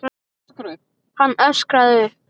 Hann öskraði upp.